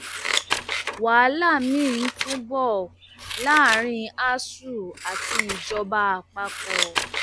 wàhálà miín tún ń bọ láàrin asuu àti ìjọba àpapọ